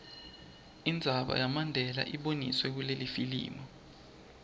indzaba yamandela iboniswe kulelifilimu